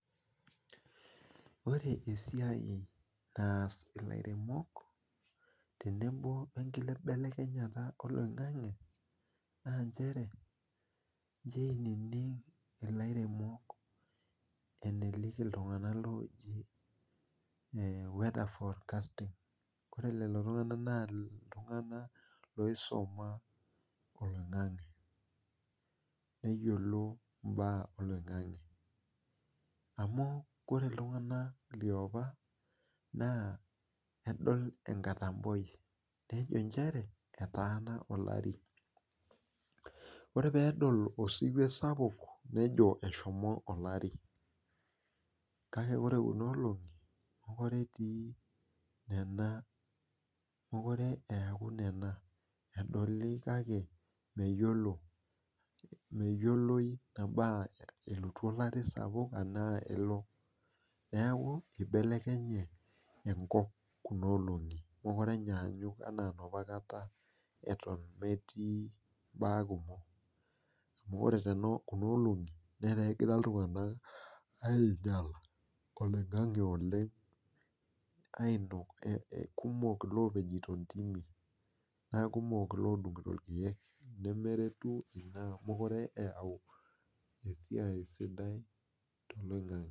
Ore esiai naas ilairemok teneboo wenkibelekenyata oloing'ange naa inchere inchooininik ilairemok ineliki iltung'anak ooji ore lelo tung'anak naa iltung'anak oisuma oloing'ange neyiolo imbaa oloing'ange amu ore iltung'anak liapa nedol wnkatoboi nejo eewuo olare ore peedol osiwuo sapuk nejo eshomo olari kake ore kuna olengi meekure eeku bena edoli kake neyiolou elotu olari ashu aelo newku eibelekenye enkop meekure etii inapa baa kumok meekure egira iltung'anak kumok iloopejito intimi nemeretu ina amu meeekure eyau esiai sidai toloingange